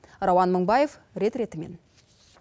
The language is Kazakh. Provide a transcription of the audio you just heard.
рауан мыңбаев рет ретімен